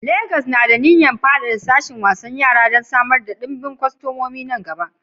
Legas na da niyyar faɗaɗa sashin wasan yara don samar da ɗimbin kwastomomi a nan gaba.